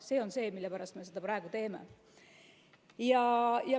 See on see, mille pärast me seda praegu teeme.